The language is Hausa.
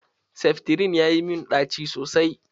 Seftirin ya yi mun ɗaci sosai.